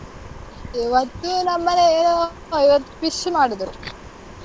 ಇವತ್ತು ನಮ್ಮೆನೇಲಿ ಏನು fish ಮಾಡಿದ್ರು.